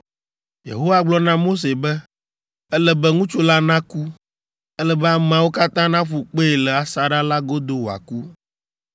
Yehowa gblɔ na Mose be, “Ele be ŋutsu la naku. Ele be ameawo katã naƒu kpee le asaɖa la godo wòaku.”